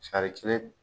Sari kelen